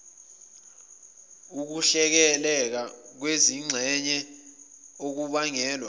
ukuhleleka kwezingxenye okubangelwa